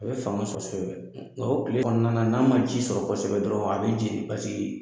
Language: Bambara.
A bɛ fanga sɔrɔ kosɛbɛ o tile kɔnɔna n'a ma ji sɔrɔ kosɛbɛ dɔrɔn a bɛ jeni